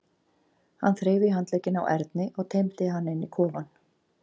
Hann þreif í handlegginn á Erni og teymdi hann inn í kofann.